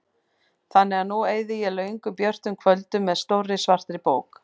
Þannig að nú eyði ég löngum björtum kvöldum með stórri svartri bók.